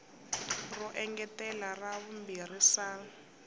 ro engetela ra vumbirhi sal